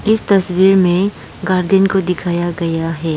इस तस्वीर में गार्डन को दिखाया गया है।